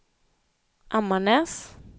Ammarnäs